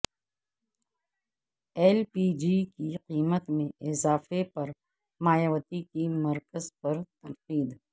L P G کی قیمت میں اضافے پر مایاوتی کی مرکز پر تنقید